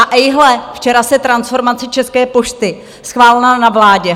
A ejhle, včera se transformace České pošty schválila na vládě.